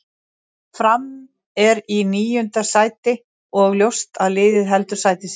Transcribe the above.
Fram er í níunda sæti og ljóst að liðið heldur sæti sínu.